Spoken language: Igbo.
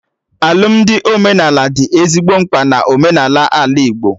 Alụmdi omenala dị ezigbo mkpa na omenaala Ala Igbo